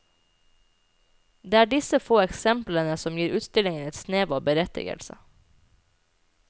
Det er disse få eksemplene som gir utstillingen en snev av berettigelse.